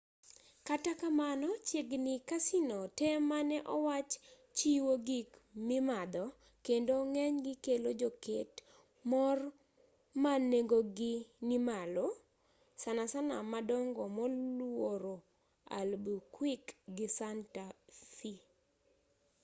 kata kamano chiegni casino te mane owach chiwo gik mimadho kendo ng'enygi kelo joket mor ma nengogi nimalo sanasana madongo moluoro albuquerque gi santa fe